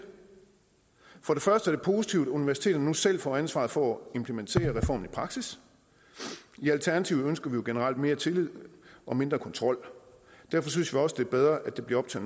første er det positivt at universiteterne nu selv får ansvaret for at implementere reformen i praksis i alternativet ønsker vi jo generelt mere tillid og mindre kontrol og derfor synes vi også det er bedre at det bliver op til